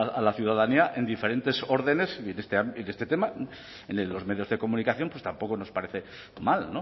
a la ciudadanía en diferentes órdenes y en este tema en los medios de comunicación pues tampoco nos parece mal